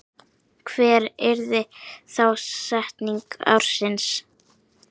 Hver yrði þá setning ársins?